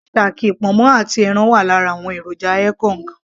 shaki, ponmo àti ẹran wà lára àwọn èròjà ekong